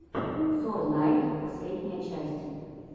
сорнайд последняя часть